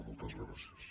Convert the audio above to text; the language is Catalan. moltes gràcies